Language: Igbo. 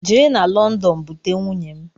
Je na london bute nwunye m!